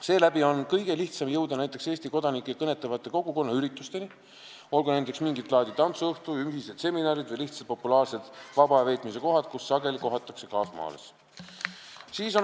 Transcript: Seeläbi on kõige lihtsam jõuda näiteks Eesti kodanikke kõnetavatele kogukonnaüritustele, olgu nendeks mingit laadi tantsuõhtud või ühised seminarid, olulised on ka populaarsed vaba aja veetmise kohad, kus sageli kaasmaalasi kohatakse.